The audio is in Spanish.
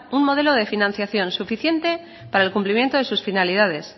un modelo de financiación suficiente para el cumplimiento de sus finalidades